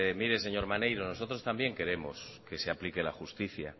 mire señor maneiro nosotros también queremos que se aplique la justicia